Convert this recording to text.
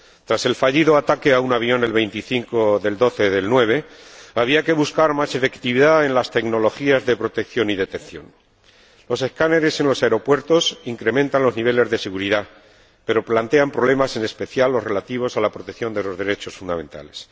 Tras el fallido ataque a un avión, el 25 de diciembre de 2009, había que buscar más efectividad en las tecnologías de protección y detección. Los escáneres en los aeropuertos incrementan los niveles de seguridad, pero plantean problemas, en especial, relativos a la protección de los derechos fundamentales.